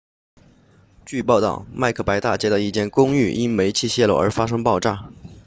据报道麦克白大街 macbeth street 的一间公寓因煤气泄漏而发生爆炸